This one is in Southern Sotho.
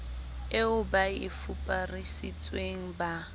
eo ba e fuparisitsweng ba